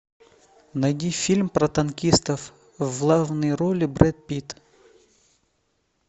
найди фильм про танкистов в главной роли брэд питт